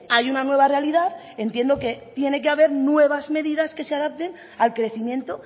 hay una nueva realidad entiendo que tiene que haber nuevas medidas que se adapten al crecimiento